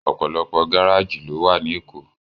Òpòlòpò gáráji ló wá ni Ékó